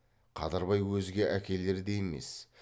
қадырбай өзге әкелердей емес